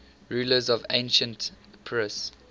rulers of ancient epirus